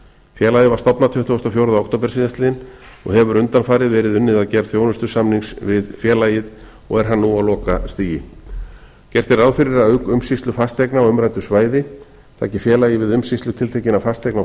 félagið var stofnað tuttugasta og fjórða október síðastliðinn og hefur undanfarið verið unnið að gerð þjónustusamnings við félagið og er hann nú á lokastigi gert er ráð fyrir að umsýslu fasteigna á umræddu svæði taki félagið við umsýslu tiltekinna fasteigna á